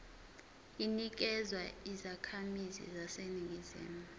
inikezwa izakhamizi zaseningizimu